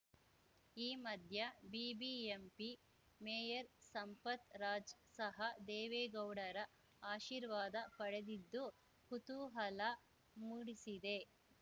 ಈ ಮಧ್ಯೆ ಬಿಬಿಎಂಪಿ ಮೇಯರ್‌ ಸಂಪತ್‌ ರಾಜ್‌ ಸಹ ದೇವೇಗೌಡರ ಆಶೀರ್ವಾದ ಪಡೆದಿದ್ದು ಕುತೂಹಲ ಮೂಡಿಸಿದೆ